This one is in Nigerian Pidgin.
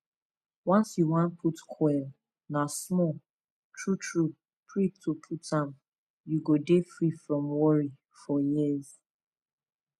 once you wan put coil na small true true prick to put am u go dey free from worry for years